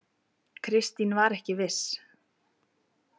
Kristín var ekki viss.